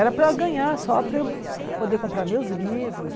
Era para ganhar, só para eu poder comprar meus livros.